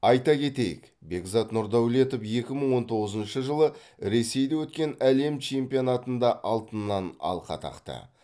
айта кетейік бекзат нұрдәулетов екі мың он тоғызыншы жылы ресейде өткен әлем чемпионатында алтыннан алқа тақты